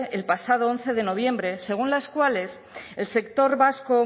el pasado once de noviembre según las cuales el sector vasco